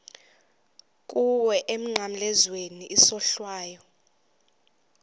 kuwe emnqamlezweni isohlwayo